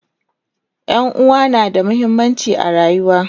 ƴan'uwa na da muhimmanci a rayuwa